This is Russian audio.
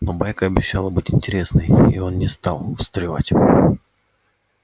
но байка обещала быть интересной и он не стал встревать